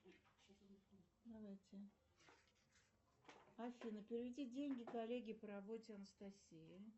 давайте афина переведи деньги коллеге по работе анастасии